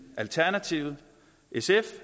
alternativet sf